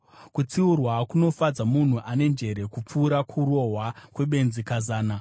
Kutsiurwa kunofadza munhu ane njere kupfuura kurohwa kwebenzi kazana.